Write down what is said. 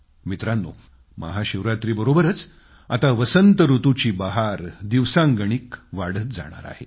मित्रांनो महाशिवरात्रीबरोबरच आता वसंत ऋतूची बहार दिवसांगणिक वाढत जाणार आहे